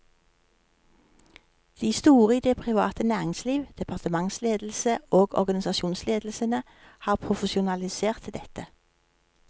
De store i det private næringsliv, departementsledelsene og organisasjonsledelsene har profesjonalisert dette.